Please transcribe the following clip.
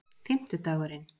fimmtudagurinn